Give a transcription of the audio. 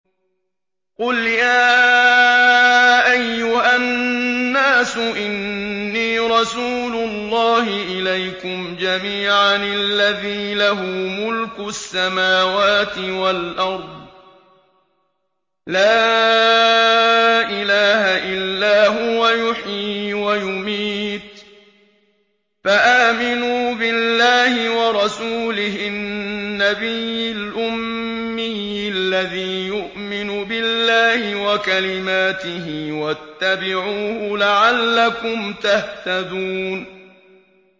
قُلْ يَا أَيُّهَا النَّاسُ إِنِّي رَسُولُ اللَّهِ إِلَيْكُمْ جَمِيعًا الَّذِي لَهُ مُلْكُ السَّمَاوَاتِ وَالْأَرْضِ ۖ لَا إِلَٰهَ إِلَّا هُوَ يُحْيِي وَيُمِيتُ ۖ فَآمِنُوا بِاللَّهِ وَرَسُولِهِ النَّبِيِّ الْأُمِّيِّ الَّذِي يُؤْمِنُ بِاللَّهِ وَكَلِمَاتِهِ وَاتَّبِعُوهُ لَعَلَّكُمْ تَهْتَدُونَ